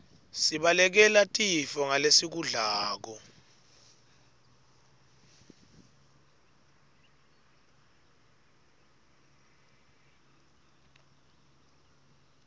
sibalekele tifo ngalesikudlako